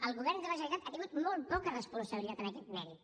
el govern de la generalitat ha tingut molt poca responsabilitat en aquest mèrit